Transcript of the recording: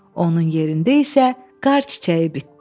Onun yerində isə qar çiçəyi bitdi.